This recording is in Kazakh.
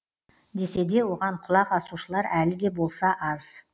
десе де оған құлақ асушылар әлі де болса аз